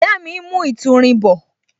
Ìyá mi ń mu ìtúrin bọ